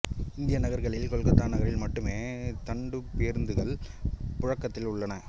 இந்திய நகர்களில் கொல்கத்தா நகரில் மட்டுமே தண்டுப் பேருந்துகள் புழக்கத்தில் உள்ளன